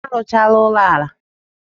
Ha arụchaala ụlọala ha.